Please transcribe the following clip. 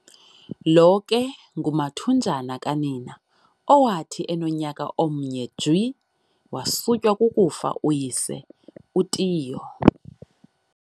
lo ke ngumathunjana kanina, owathi enomnyaka omnye jwi, wasutywa kukufa uyise, uTiyo.